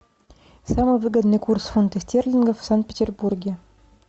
самый выгодный курс фунта стерлингов в санкт петербурге